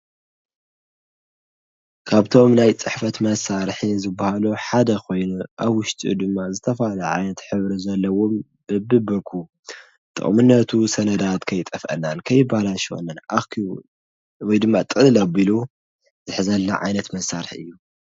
ካብቶም ናይ ፅሕፈት መሳርሒ ዝበሃሉ ሓደ ኮይኑ አብ ዉሽጡ ድማ ዝተፈላለየ ዓይነት ሕብሪ ዘለዎም ብቢብርኩ፣ ጥቅምነቱ ሰነዳት ከይጠፍአናን ከይበላሸወናን አኪቡ ወይ ድማ ጥቅልል አቢሉ ዝሕዘልና ዓይነት መሳርሒ እዩ።